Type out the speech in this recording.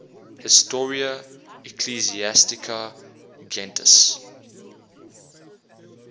historia ecclesiastica gentis